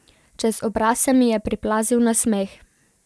Čez obraz se mi je priplazil nasmeh.